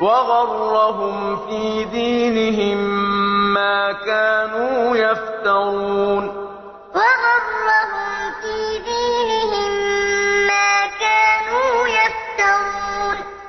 وَغَرَّهُمْ فِي دِينِهِم مَّا كَانُوا يَفْتَرُونَ ذَٰلِكَ بِأَنَّهُمْ قَالُوا لَن تَمَسَّنَا النَّارُ إِلَّا أَيَّامًا مَّعْدُودَاتٍ ۖ وَغَرَّهُمْ فِي دِينِهِم مَّا كَانُوا يَفْتَرُونَ